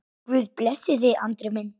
Guð blessi þig, Andri minn.